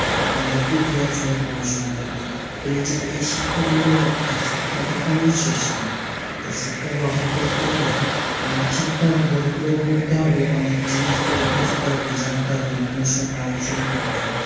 অনেক ইতিহাস নিয়ে পড়াশুনা থাকে। এই যে এই শিক্ষাগুলো দ্যাখ শিক্ষার কখনোই শেষ নেই। তো শিক্ষা গ্রহণ করতে গেলে অনেক শিক্ষার বইগুলোও পড়তে হবে, অনেক জিনিসগুলো বুঝতে হবে, জানতে হবে, অন্যের সঙ্গে আলোচনা করতে হবে।